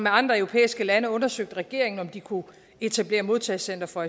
andre europæiske lande undersøgte regeringen om de kunne etablere modtagecentre for